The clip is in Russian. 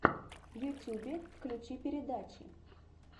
в ютюбе включи передачи